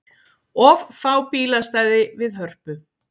Of fá bílastæði við Hörpu